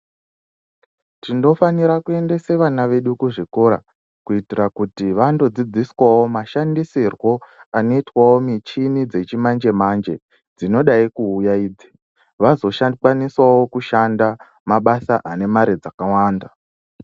Tindofanira kuendesa vana vedu kuzvikora kuitira kuti vandodzidziswa michini yechi manje manje dzinodai kuuya idzi vazoshandawo mabsa anemari dzakawanda